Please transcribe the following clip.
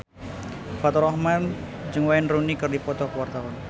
Faturrahman jeung Wayne Rooney keur dipoto ku wartawan